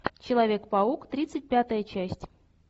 человек паук тридцать пятая часть